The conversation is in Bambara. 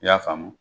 I y'a faamu